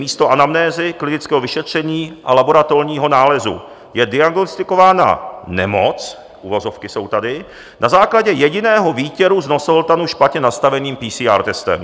Místo anamnézy, klinického vyšetření a laboratorního nálezu je diagnostikována nemoc" - uvozovky jsou tady - "na základě jediného výtěru z nosohltanu špatně nastaveným PCR testem.